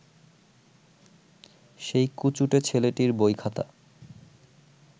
সেই কুচুটে ছেলেটির বইখাতা